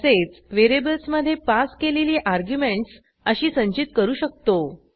तसेच व्हेरिएबल्समधे पास केलेली अर्ग्युमेंटस अशी संचित करू शकतो